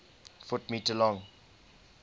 ft m long